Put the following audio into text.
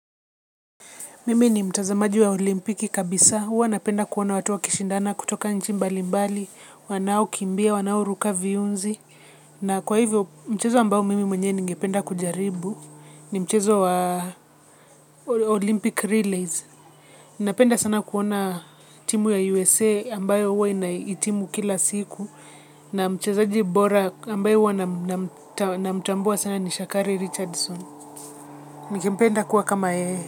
Mimi ni mtazamaji wa olimpiki kabisa. Huwa napenda kuona watu wakishindana kutoka nchi mbali mbali. Wanaokimbia, wanaoruka viunzi. Na kwa hivyo mchezo ambao mimi mwenyewe ningependa kujaribu. Ni mchezo wa Olympic Relays. Napenda sana kuona timu ya USA ambayo huwa inahitimu kila siku. Na mchezaji bora ambaye namtambua sana ni Shakari Richardson. Nikimpenda kuwa kama yeye.